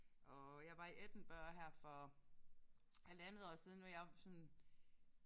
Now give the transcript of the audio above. Og jeg var i Edinburgh her for halvandet år siden hvor jeg var sådan